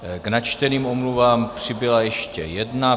K načteným omluvám přibyla ještě jedna.